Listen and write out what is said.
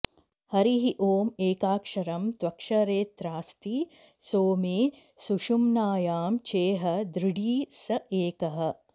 हरिः ॐ एकाक्षरं त्वक्षरेऽत्रास्ति सोमे सुषुम्नायां चेह दृढी स एकः